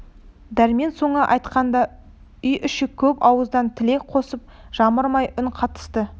дәрмен соны айтқанда үй іші көп ауыздан тілек қосып жамырай үн қатысты